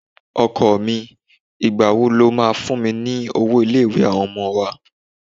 Ọkọ mi, ìgbà wo lo máa fún mi ní owó ilé-ìwé àwọn ọmọ wa?